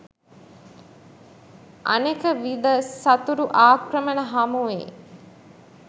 අනෙක විද සතුරු ආක්‍රමණ හමුවේ